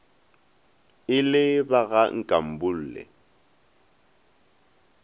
e le ba ga nkambule